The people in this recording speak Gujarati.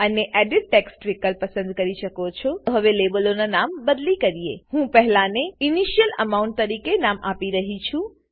અને એડિટ ટેક્સ્ટ વિકલ્પ પસંદ કરી શકો છો લેબલોનાં નામ બદલી કરીએ હું પહેલાને ઇનિશિયલ એમાઉન્ટ તરીકે નામ આપી રહ્યી છું